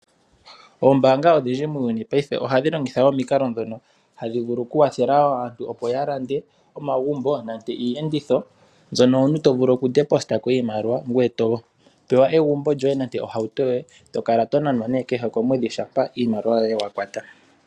Oombanga odhindji muuyuni paife ohadhi longitha omikalo dhono tadhi vulu ku kwathela aantu opo ya lande omagumbo nenge iiyenditho, mbyono omuntu to vulu okufuta ko iimaliwa ngoye to pewa egumbo lyoye nande ohauto yoye eto kala tonanwa kehe komwedhi shampa iimaliwa yoye wa kwata.